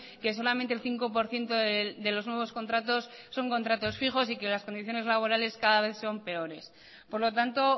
que solamente el cinco por ciento de los nuevos contratos son contratos fijos y que las condiciones laborales cada vez son peores por lo tanto